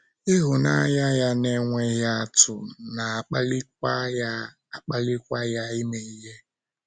Ịhụnanya ya na - enweghị atụ na - akpalikwa ya - akpalikwa ya ime ihe.